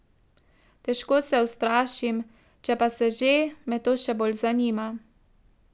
Težko se ustrašim, če pa se že, me to še bolj zanima.